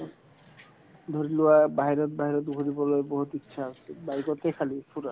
ধৰিলোৱা বাহিৰত~ বাহিৰত ঘূৰিবলৈ বহুত ইচ্ছা আছে bike তে খালী ফুৰা